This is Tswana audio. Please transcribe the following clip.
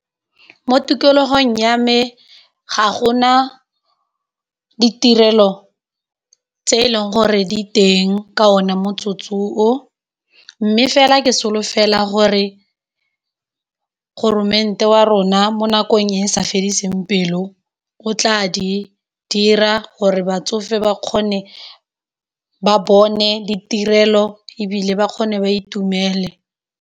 Mo tikologong ya me ga gona ditirelo tse e leng gore diteng ka one motsotso o, mme fela ke solofela gore goromente wa rona mo nakong e sa fediseng pelo o tla di dira gore batsofe ba kgone ba bone ditirelo e bile ba kgone ba itumele.